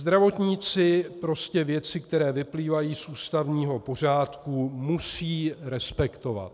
Zdravotníci prostě věci, které vyplývají z ústavního pořádku, musí respektovat.